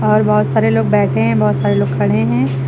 और बहोत सारे लोग बैठे हैं बहोत सारे लोग खड़े हैं।